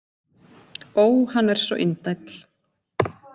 Ó, hann er svo indæll!